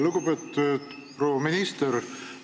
Lugupeetud proua minister!